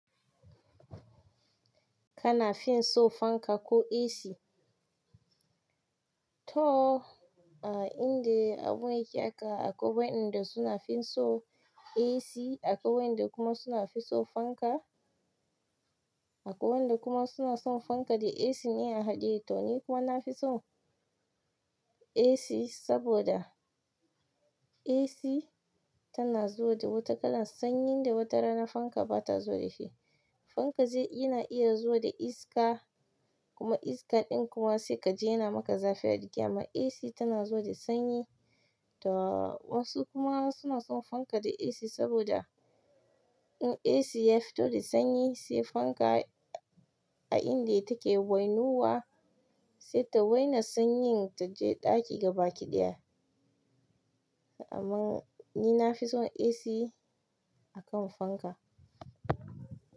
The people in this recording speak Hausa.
Kana fin so fanka ko AC? To, a inda abu yake aka akwai wanda suna fin so AC, akwai wanda kuma suna fin so fanka, akwai wanda kuma suna son fanka da AC ne a haɗe. To ni kuma nafison AC saboda AC tana zuwa da wata kalan sanyi da watarana fanka bata zuwa dashi fanka yana iya zuwa da iska kuma iska ɗin kuma sai kaji yana maka zafi ajiki. Amma AC tana zuwa da sanyi to wasu kuma suna son fanka da AC saboda in AC ya fito da sanyi sai fanka a inda yake wainuwa sai ta waina sanyin ta je ɗaki gaba kiɗaya. Amma ni na fi son AC akan fanka.